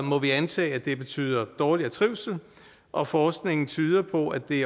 må vi antage at det betyder dårligere trivsel og forskningen tyder på at det